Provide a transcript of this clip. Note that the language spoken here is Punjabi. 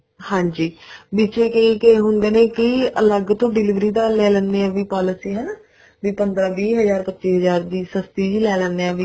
ਹਾਂਜੀ ਵਿਚੇ ਕਈ ਕਈ ਹੁੰਦੇ ਨੇ ਕਈ ਅਲੱਗ ਤੋਂ delivery ਦਾ ਲੈ ਲੈਂਦੇ ਨੇ ਵੀ policy ਹਨਾ ਵੀ ਪੰਦਰਾਂ ਵੀਹ ਹਜ਼ਾਰ ਪੱਚੀ ਹਜ਼ਾਰ ਸਸਤੀ ਜੀ ਲੈ ਲੈਣੇ ਹਾਂ